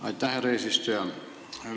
Aitäh, härra eesistuja!